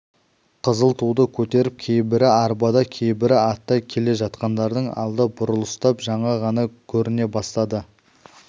қызыл туды көтеріп кейбірі арбада кейбірі атта келе жатқандардың алды бұрылыстап жаңа ғана көріне бастады